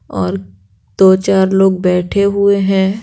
और दो-चार लोग बैठे हुए हैं।